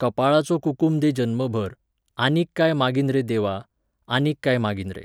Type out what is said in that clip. कपाळाचो कुकूम दे जन्मभर, आनीक काय मागीन रे देवा, आनीक काय मागीन रे